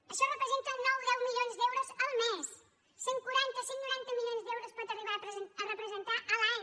això representa nou o deu milions d’euros el mes cent i quaranta cent i noranta milions d’euros pot arribar a representar a l’any